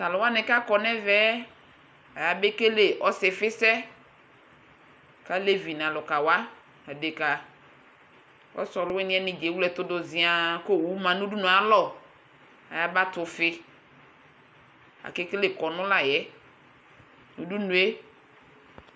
Tʋ alʋ wanɩ kʋ akɔ nʋ ɛvɛ yɛ, ayabekele ɔsɩfɩsɛ kʋ alevi nʋ alʋka wa, adekǝ Ɔsɩ ɔlʋwɩnɩ yɛ nɩ dza ewle ɛtʋ dʋ zɩaa kʋ owu ma nʋ udunu yɛ alɔ Ayaba tɛ ʋfɩ Akekele kɔnʋ la yɛ Tʋ udunu yɛ